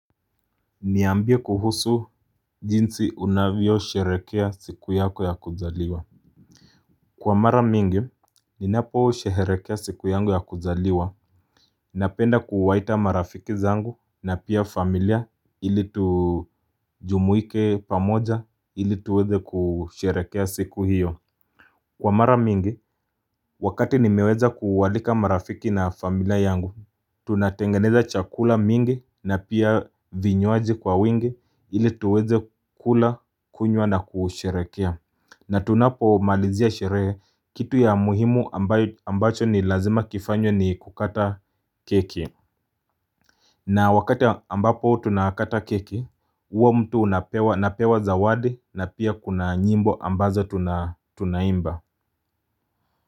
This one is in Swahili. Niambie kuhusu jinsi unavyo sheherekea siku yako ya kuzaliwa Kwa mara mingi, ninaposheherekea siku yangu ya kuzaliwa Napenda kuwaita marafiki zangu na pia familia ili tujumuike pamoja ili tuweze kusherehekea siku hiyo Kwa mara mingi, wakati nimeweza kuwalika marafiki na familia yangu, tunatengeneza chakula mingi na pia vinywaji kwa wingi ili tuweze kula, kunywa na kusheherekea na tunapo malizia sherehe, kitu ya muhimu ambacho ni lazima kifanywa ni kukata keki na wakati ambapo tunakata keki huwa mtu napewa zawadi na pia kuna nyimbo ambazo tunaimba.